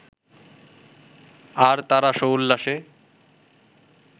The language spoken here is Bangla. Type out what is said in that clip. আর তাঁরা সোল্লাসে